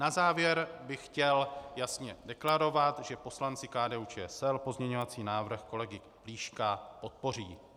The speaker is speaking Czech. Na závěr bych chtěl jasně deklarovat, že poslanci KDU-ČSL pozměňovací návrh kolegy Plíška podpoří.